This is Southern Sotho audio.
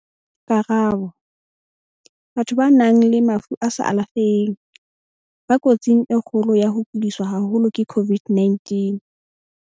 Karabo- Batho ba nang le mafu a sa alafeheng ba ko tsing e kgolo ya ho kodiswa haholo ke COVID-19.